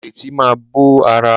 Ìrètí máa bó ara.